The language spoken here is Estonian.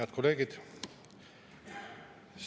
Head kolleegid!